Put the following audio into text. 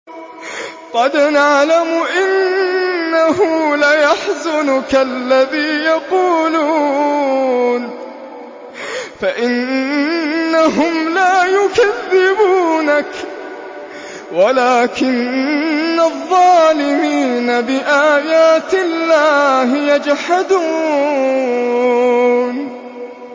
قَدْ نَعْلَمُ إِنَّهُ لَيَحْزُنُكَ الَّذِي يَقُولُونَ ۖ فَإِنَّهُمْ لَا يُكَذِّبُونَكَ وَلَٰكِنَّ الظَّالِمِينَ بِآيَاتِ اللَّهِ يَجْحَدُونَ